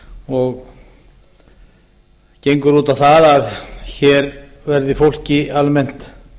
og gengur út á það að hér verði fólki almennt